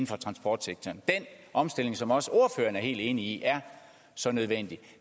for transportsektoren den omstilling som også ordføreren er helt enig i er så nødvendig